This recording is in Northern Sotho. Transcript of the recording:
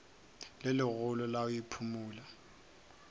le legolo la go iphumola